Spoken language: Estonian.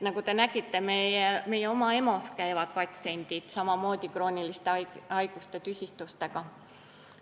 Nagu te nägite, meie oma EMO-s käivad patsiendid samamoodi krooniliste haiguste tüsistustega.